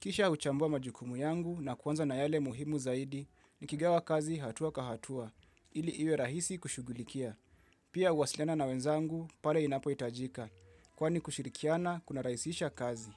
Kisha huchambua majukumu yangu na kuanza na yale muhimu zaidi nikigawa kazi hatua kwa hatua, ili iwe rahisi kushugulikia. Pia huwasilena na wenzangu pale inapohitajika, kwani kushirikiana kunarahisisha kazi.